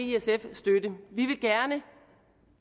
støtte vi vil gerne